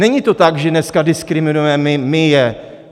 Není to tak, že dneska diskriminuje my je.